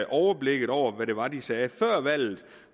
overblikket over hvad det var de sagde før valget